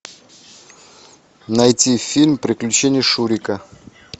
найти фильм приключения шурика